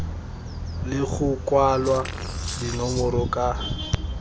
le go kwalwa dinomoro ka